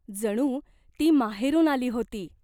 जणू ती माहेरून आली होती.